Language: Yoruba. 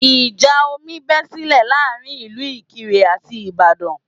Ìjà omi bé sílẹ̀ láàrin ìlú Ìkirè àti Ìbàdàn